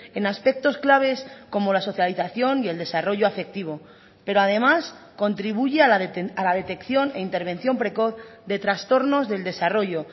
en aspectos claves como la socialización y el desarrollo afectivo pero además contribuye a la detección e intervención precoz de trastornos del desarrollo